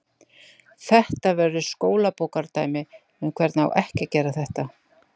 Þetta verður skólabókardæmi um hvernig á ekki að gera þetta.